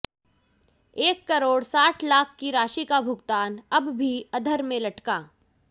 एक करोड़ साठ लाख की राशि का भुगतान अब भी अधर में लटका